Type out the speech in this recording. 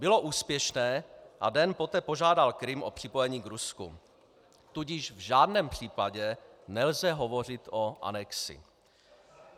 Bylo úspěšné a den poté požádal Krym o připojení k Rusku, tudíž v žádném případě nelze hovořit o anexi.